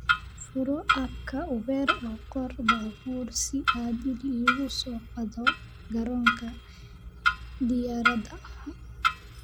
furo app-ka uber oo qor baabuur si aad iigu soo qaado garoonka diyaaradaha